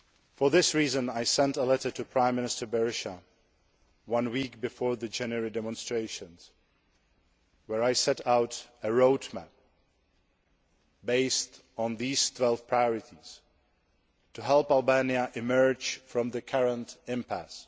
For this reason, I sent a letter to Prime Minister Berisha one week before the January demonstrations, in which I set out a road map based on these 12 priorities, to help Albania emerge from the current impasse.